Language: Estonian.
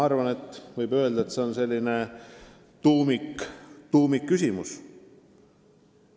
Aga teie küsimus on, ma arvan, selline tuumikküsimus.